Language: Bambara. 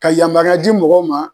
Ka yamaruya di mɔgɔw ma